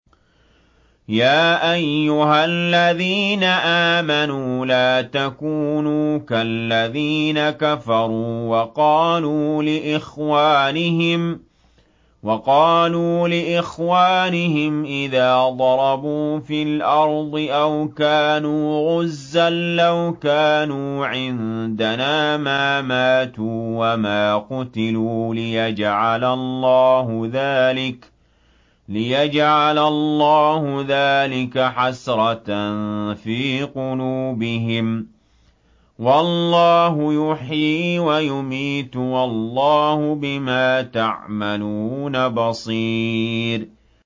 يَا أَيُّهَا الَّذِينَ آمَنُوا لَا تَكُونُوا كَالَّذِينَ كَفَرُوا وَقَالُوا لِإِخْوَانِهِمْ إِذَا ضَرَبُوا فِي الْأَرْضِ أَوْ كَانُوا غُزًّى لَّوْ كَانُوا عِندَنَا مَا مَاتُوا وَمَا قُتِلُوا لِيَجْعَلَ اللَّهُ ذَٰلِكَ حَسْرَةً فِي قُلُوبِهِمْ ۗ وَاللَّهُ يُحْيِي وَيُمِيتُ ۗ وَاللَّهُ بِمَا تَعْمَلُونَ بَصِيرٌ